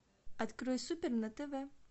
открой супер на тв